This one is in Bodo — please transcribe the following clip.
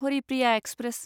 हरिप्रिया एक्सप्रेस